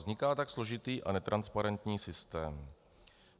Vzniká tak složitý a netransparentní systém.